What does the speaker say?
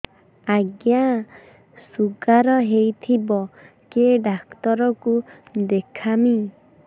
ଆଜ୍ଞା ଶୁଗାର ହେଇଥିବ କେ ଡାକ୍ତର କୁ ଦେଖାମି